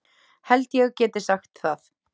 Held ég geti sagt það.